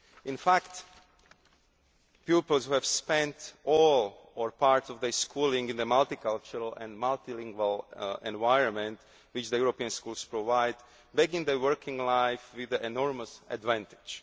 In fact, pupils who have spent all or part of their school lives in the multicultural and multilingual environment which the European schools provide begin their working life with an enormous advantage.